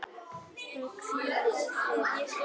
Hún hvíli í friði.